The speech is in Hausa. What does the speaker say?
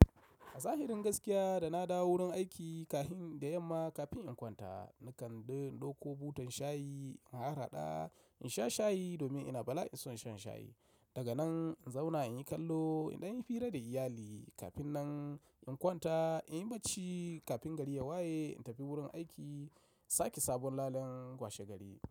A zahirin gaskiya da na dawo wurin aiki kahin da yamma kafin in kwanta, nakan ɗauko butan shayi in har haɗa in sha shayi domin ina bala'in son shan shayi. Daga nan in zauna in yi kallo idan yi hira da iyali kafin nan in kwanta in yi bacci kafin gari ya waye in tafi wurin aiki sake sabon lallen kwashe gari.